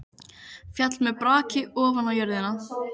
Féll með braki ofan á jörðina.